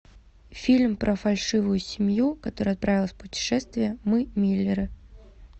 фильм про фальшивую семью которая отправилась в путешествие мы миллеры